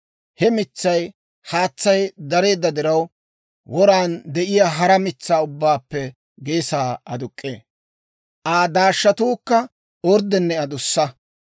He mitsay haatsay dareedda diraw, woran de'iyaa hara mitsaa ubbaappe geesaa aduk'k'ee; Aa daashshatuukka orddenne adussa.